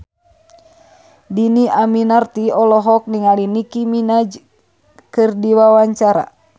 Dhini Aminarti olohok ningali Nicky Minaj keur diwawancara